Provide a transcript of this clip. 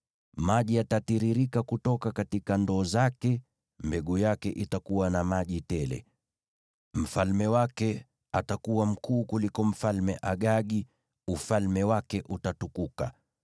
Maji yatatiririka kutoka ndoo zake; mbegu yake itakuwa na maji tele. “Mfalme wake atakuwa mkuu kuliko Mfalme Agagi; ufalme wake utatukuka.